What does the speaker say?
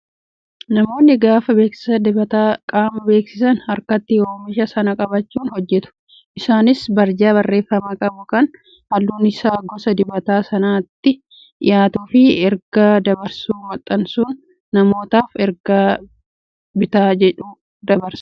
Namoonni gaafa beeksisa dibata qaamaa beeksisan harkatti oomisha sana qabachuun hojjatu. Isaanis barjaa barreeffama qabu kan halluun isaa gosa dibataa sanatti dhiyaatuu fi ergaa dabarsu maxxansuun namootaaf ergaa bitaa jedhu dabarsu.